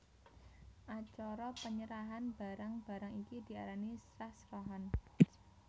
Acara penyerahan barang barang iki diarani srah srahan